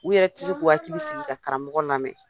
U yɛrɛ ti se k'u hakili sigi ka karamɔgɔ lamɛn